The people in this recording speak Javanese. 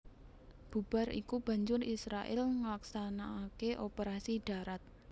Bubar iku banjur Israèl nglaksanakaké operasi dharat